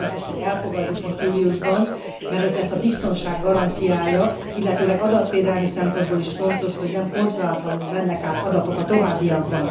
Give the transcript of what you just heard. Azért fontos, hogy elfogadjuk most júliusban, mert ez lesz a biztonság garanciája, illetőleg adatvédelmi szempontból is fontos, hogy nem kontrollálatlanul mennek át adatok a továbbiakban.